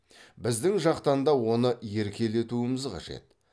біздің жақтан да оны еркелетуіміз қажет